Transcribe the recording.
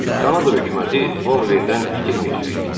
Kanada hökuməti Boldverddən itirməyəcəkdi.